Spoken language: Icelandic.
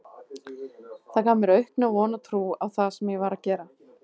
Það gaf mér aukna von og trú á það sem ég var að gera.